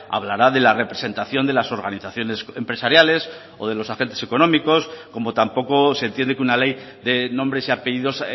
hablará de la representación de las organizaciones empresariales o de los agentes económicos como tampoco se entiende que una ley de nombres y apellidos